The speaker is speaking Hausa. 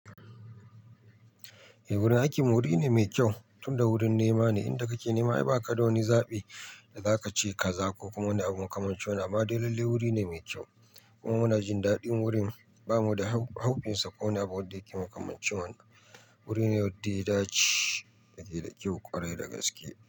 Eh wurin aikinmu wuri ne mai kyau, tunda wurin nema ne. Inda kake nema ai ba ka ga wani zaɓi da za ka ce kaza ko kuma na abun kamancin wani. Amma dai wuri ne mai kyau. Kuma muna jin daɗin wurin. Bamu da haufinsa ko abun da yake makamanci wannan. Wuri ne wadda ya dace da ke da kyau kwarai gaske.